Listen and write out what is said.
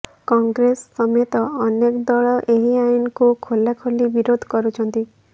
କଂଗ୍ରେସ ସମେତ ଅନେକ ଦଳ ଏହି ଆଇନକୁ ଖୋଲାଖୋଲି ବିରୋଧ କରୁଛନ୍ତି